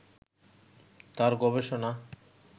তার গবেষণা